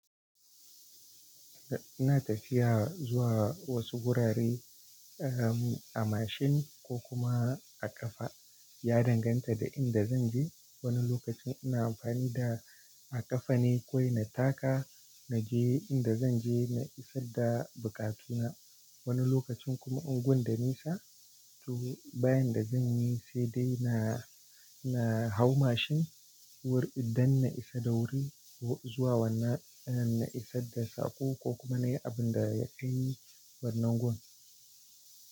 Ina tafiya zuwa wasu wurare a mashin ko kuma a ƙafa. Ya danganta da inda zan je. Wani lokacin ina amfani a ƙafa ne kawai na taka, na je inda zan je, na isar da bukatuna. Wani lokacin kuma unguwar da nisa, to ba yanda zan yi sai dai na hau mashin dan na isa da wuri ko zuwa na isar da sako ko kuma na yi abin da ya kai ni wannan gun.